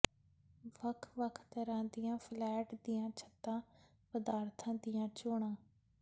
ਵੱਖ ਵੱਖ ਤਰ੍ਹਾਂ ਦੀਆਂ ਫਲੈਟ ਦੀਆਂ ਛੱਤਾਂ ਪਦਾਰਥਾਂ ਦੀਆਂ ਚੋਣਾਂ